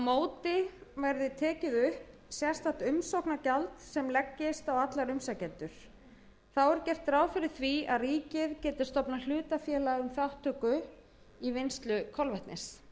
móti verði tekið upp sérstakt umsóknargjald sem leggist á alla umsækjendur þá er gert ráð fyrir að ríkið geti stofnað hlutafélag um þátttöku í vinnslu kolvetnis